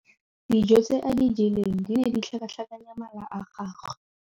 Dijô tse a di jeleng di ne di tlhakatlhakanya mala a gagwe.